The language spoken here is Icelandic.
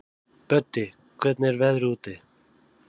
Böddi, hvernig er veðrið úti?